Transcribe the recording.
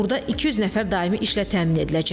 Burda 200 nəfər daimi işlə təmin ediləcək.